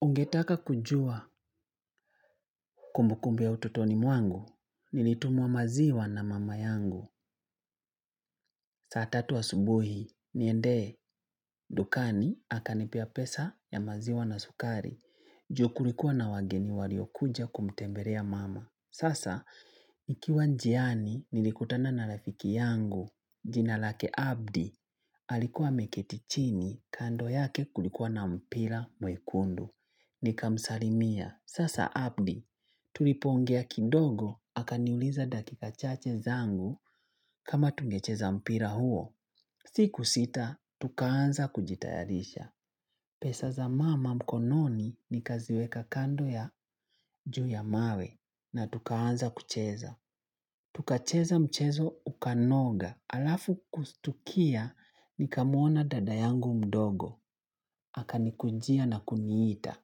Ungetaka kujua kumbukumbu ya ututoni mwangu, nilitumwa maziwa na mama yangu. Saa tatu asubuhi, niende, dukani, akanipea pesa ya maziwa na sukari. Ju kulikuwa na wageni waliokuja kumtembelea mama. Sasa, nikiwa njiani, nilikutana na rafiki yangu, jina lake abdi, alikuwa ameketi chini kando yake kulikuwa na mpira mwekundu. Nikamsalimia. Sasa abdi. Tulipoongea kidogo. Akaniuliza dakika chache zangu kama tungecheza mpira huo. Siku sita, tukaanza kujitayarisha. Pesa za mama mkononi nikaziweka kando ya juu ya mawe na tukaanza kucheza. Tukacheza mchezo ukanoga. Alafu kustukia nikamuona dada yangu mdogo. Akanikujia na kuniita,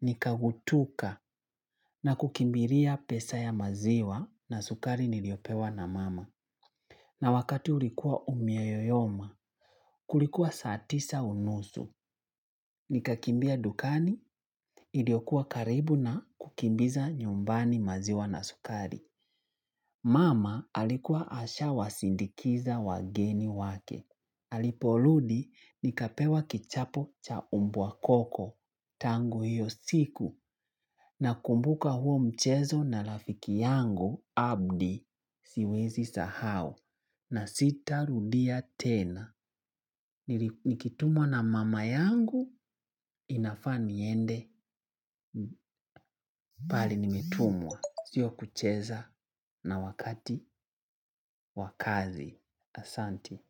nikagutuka na kukimbilia pesa ya maziwa na sukari niliopewa na mama. Na wakati ulikuwa umeyoyoma, kulikuwa saa tisa unusu, nikakimbia dukani, iliokuwa karibu na kukimbiza nyumbani maziwa na sukari. Mama alikuwa asha wasindikiza wageni wake. Aliporudi nikapewa kichapo cha umbwa koko. Tangu hiyo siku nakumbuka huo mchezo na rafiki yangu abdi siwezi sahau. Na sitarudia tena. Nikitumwa na mama yangu inafaa niende pale nimetumwa. Sio kucheza na wakati wa kazi. Asanti.